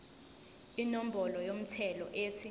inombolo yomthelo ethi